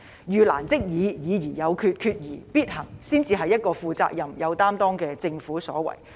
"遇難即議、議而有決、決而必行"才是一個負責任、有擔當的政府的所為。